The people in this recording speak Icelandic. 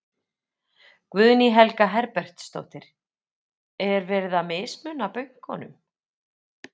Guðný Helga Herbertsdóttir: Er verið að mismuna bönkunum?